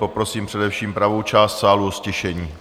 Poprosím především pravou část sálu o ztišení.